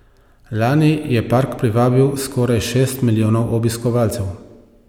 Lani je park privabil skoraj šest milijonov obiskovalcev.